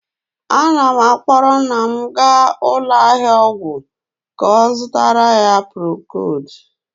Ana m akpọrọ nna m gaa ụlọ ahịa ọgwụ ka ọ zụtara ya procood,